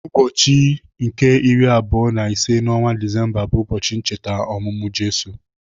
Ụbọchị nke iri abụọ na ise n'ọnwa Disemba bu ụbọchị ncheta ọmụmụ Jizọs.